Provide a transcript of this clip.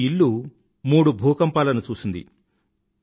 ఈ ఇల్లు మూడు భూకంపాలను చూసింది